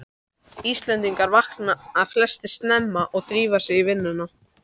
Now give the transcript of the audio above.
Íslendingar vakna flestir snemma og drífa sig í vinnuna.